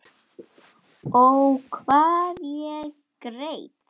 Ó, hvað ég græt.